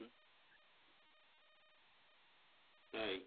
তাই